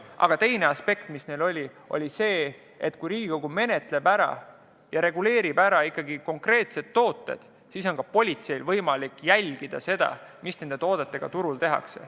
Aga teine aspekt, mis nad märkisid, oli see, et kui Riigikogu reguleerib eelnõu menetledes konkreetsetesse toodetesse puutuva, siis on politseil võimalik jälgida, mida nende toodetega turul tehakse.